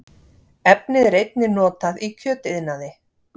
Efnið er einnig notað í kjötiðnaði